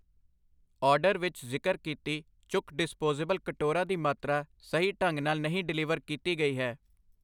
order ਵਿੱਚ ਜ਼ਿਕਰ ਕੀਤੀ ਚੁੱਕ ਡਿਸਪੋਸੇਬਲ ਕਟੋਰਾ ਦੀ ਮਾਤਰਾ ਸਹੀ ਢੰਗ ਨਾਲ ਨਹੀਂ ਡਿਲੀਵਰ ਕੀਤੀ ਗਈ ਹੈ I